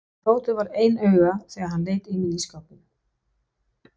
Tóti varð ein augu þegar hann leit inn í ísskápinn.